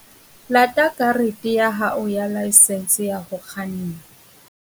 Lata karete ya hao ya laesense ya ho kganna.